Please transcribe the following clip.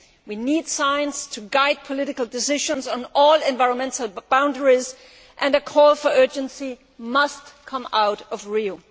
We need science to guide political decisions on all environmental boundaries. A call for urgency must come out of Rio.